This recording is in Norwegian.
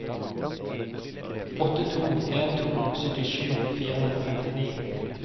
åtte to en to syttisju fire hundre og femtini